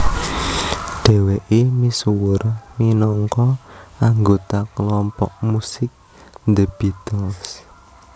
Dhèwèké misuwur minangka anggota kelompok musik The Beatles